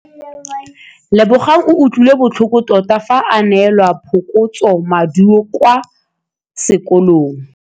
Lebogang o utlwile botlhoko tota fa a neelwa phokotsômaduô kwa sekolong.